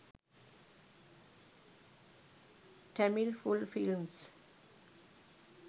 tamil full films